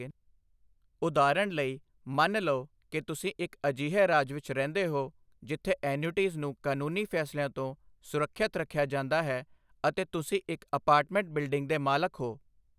ਉਦਾਹਰਨ ਲਈ, ਮੰਨ ਲਓ ਕਿ ਤੁਸੀਂ ਇੱਕ ਅਜਿਹੇ ਰਾਜ ਵਿੱਚ ਰਹਿੰਦੇ ਹੋ ਜਿੱਥੇ ਐਨਯੂਟੀਜ਼ ਨੂੰ ਕਾਨੂੰਨੀ ਫੈਸਲਿਆਂ ਤੋਂ ਸੁਰੱਖਿਅਤ ਰੱਖਿਆ ਜਾਂਦਾ ਹੈ ਅਤੇ ਤੁਸੀਂ ਇੱਕ ਅਪਾਰਟਮੈਂਟ ਬਿਲਡਿੰਗ ਦੇ ਮਾਲਕ ਹੋ।